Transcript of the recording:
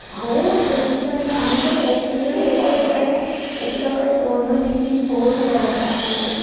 हो प्रदूषण हा म्हणजे हा म्हणजे एक लिट्रली एकाकडे दोन दोन तीन तीन फोर व्हिलर असतात महती आहे काय?